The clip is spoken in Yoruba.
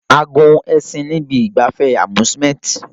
A gun ẹṣin ní ibi ìgbafẹ́ amusemnt